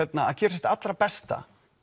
að gera sitt allra besta